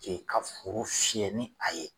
ka foro fiyɛ ni a ye